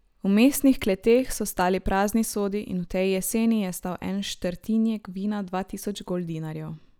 V mestnih kleteh so stali prazni sodi in v tej jeseni je stal en štrtinjek vina dva tisoč goldinarjev.